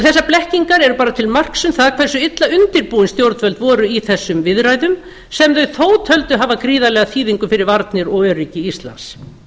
þessar blekkingar eru bara til marks um það hversu illa undirbúin stjórnvöld voru í þessum viðræðum sem þau þó töldu hafa gríðarlega þýðingu fyrir varnir og öryggi íslands